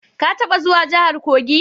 Ka taba zuwa jahar Kogi?